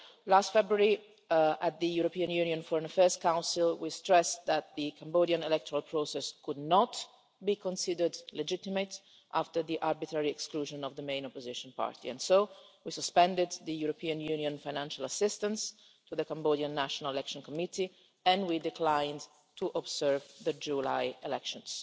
Last February, at the European Union Foreign Affairs Council, we stressed that the Cambodian electoral process could not be considered legitimate after the arbitrary exclusion of the main opposition party, and so we suspended the European Union financial assistance to the Cambodian National Election Committee and we declined to observe the July elections.